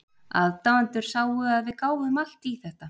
Aðdáendurnir sáu að við gáfum allt í þetta.